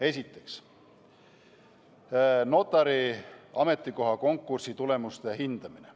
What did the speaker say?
Esiteks, notari ametikoha konkursi tulemuste hindamine.